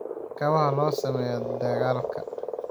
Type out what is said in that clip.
kabaha loo sameeyay... dagaalka?